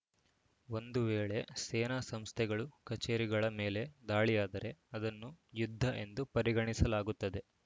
ಒಂದು ವೇಳೆ ಸೇನಾ ಸಂಸ್ಥೆಗಳು ಕಚೇರಿಗಳ ಮೇಲೆ ದಾಳಿಯಾದರೆ ಅದನ್ನು ಯುದ್ಧ ಎಂದು ಪರಿಗಣಿಸಲಾಗುತ್ತದೆ